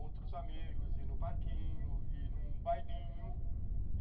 Outros amigos, ir no parquinho, ir num bailinho.